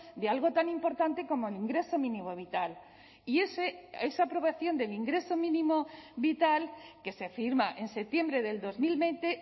de algo tan importante como el ingreso mínimo vital y esa aprobación del ingreso mínimo vital que se firma en septiembre del dos mil veinte